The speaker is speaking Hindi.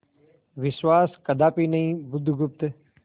विश्वास कदापि नहीं बुधगुप्त